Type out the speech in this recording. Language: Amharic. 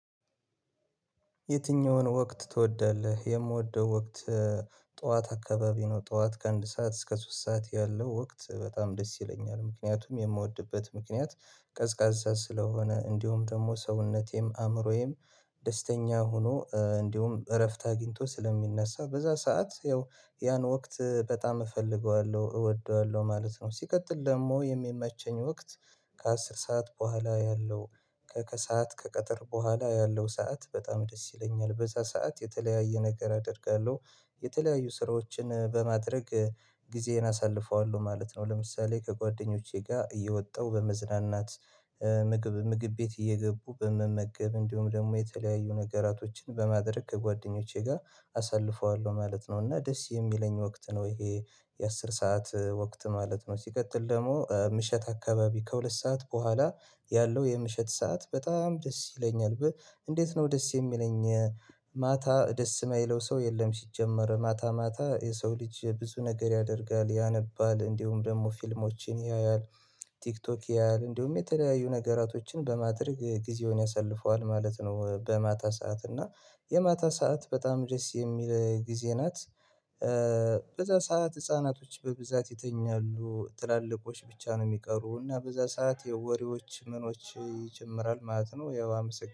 የትኛውን ወቅት ትወዳለህ? የምወደው ወቅት። ጠዋት አካባቢ ነው ጠዋት ከአንድ ሰዓት እስከ ሶስት ሰዓት ያለው ወቅት በጣም ደስ ይለኛል። ምክንያቱም የምወድበት ምክንያት ቀዝቃዛ ስለሆነ እንዲሁም ደግሞ ሰውነቴም አእምሮዬም። ደስተኛ ሆኖ እንዲሁም እረፍት አግኝቶ ስለሚነሳ በዛ ሰዓት ያው ያን ወቅት በጣም እፈልገዋለሁ እወደዋለሁ ማለት ነው። ሲቀጥል ደግሞ የሚመቸኝ ወቅት። ከአስር ሰዓት በኋላ ያለው ከከሰአት ከቀጠር በኋላ ያለው ሰዓት በጣም ደስ ይለኛል። በዛ ሰዓት የተለያየ ነገር አደርጋለሁ የተለያዩ ስራዎችን በማድረግ ጊዜን አሳልፈዋለሁ ማለት ነው። ለምሳሌ ከጓደኞቼ ጋር እየወጣሁ በመዝናናት። ምግብ ምግብ ቤት እየገቡ በመመገብ እንዲሁም ደግሞ የተለያዩ ነገራቶችን በማድረግ ከጓደኞቼ ጋር አሳልፈዋለሁ ማለት ነው። እና ደስ የሚለኝ ወቅት ነው ይሄ የአሥር ሰዓት ወቅት ማለት ነው። ሲቀጥል ደግሞ ምሽት አካባቢ ከሁለት ሰዓት በኋላ ያለው የምሽት ሰዓት በጣም ደስ ይለኛል። እንዴት ነው ደስ የሚለኝ? ማታ ደስ የማይለው ሰው የለም። ሲጀመር ማታ ማታ የሰው ልጅ ብዙ ነገር ያደርጋል ያነባል እንዲሁም ደግሞ ፊልሞችን ያያል። ቲክቶክ ያያል እንዲሁም የተለያዩ ነገራቶችን በማድረግ ጊዜውን ያሳልፈዋል ማለት ነው። በማታ ሰዓት እና የማታ ሰዓት በጣም ደስ የሚል ጊዜ ናት። በዛ ሰዓት ህፃናቶች በብዛት የተኛሉ ትላልቆች ብቻ ነው የሚቀሩት እና በዛ ሰዓት ወሬዎች ምኖች ይጨምራል ማለት ነው። ያው አመሰግናለሁ